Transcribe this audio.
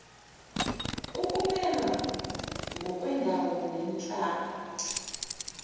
ukumelwa ngokwendawo nenhlalo